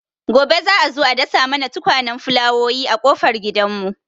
Gobe za'a zo a dasa mana tukwanen fulawowi a ƙofar gidan mu